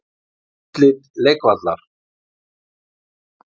Útlit leikvallar?